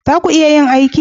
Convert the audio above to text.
Za ku iya yin aiki?